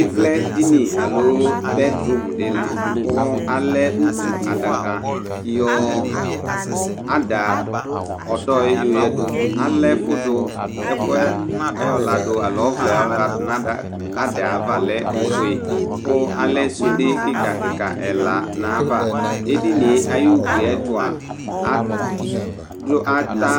ivlɛ dini alo bɛd rum di la ku alɛ utu adaka yɔ ada ɔdɔ yɛ yoyadu alɛ ɛfu du, ɛkuɛ ayɔ ladu alo ɔvlɛ bʋa ku ayɔ ladu nu adaɛ ava lɛ ofue ku alɛ sude kika kika ɛla nayava, edinie ayi ugliɛtua adu, ata